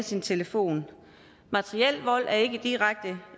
sin telefon materiel vold er ikke direkte